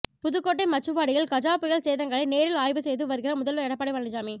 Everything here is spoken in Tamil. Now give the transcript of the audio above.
புதுக்கோட்டை மச்சுவாடியில் கஜா புயல் சேதங்களை நேரில் ஆய்வு செய்து வருகிறார் முதல்வர் எடப்பாடி பழனிசாமி